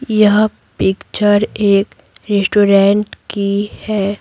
यह पिक्चर एक रेस्टोरेंट की है।